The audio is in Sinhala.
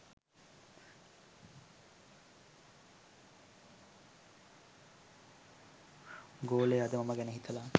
ගෝලය අද මම ගැන හිතලා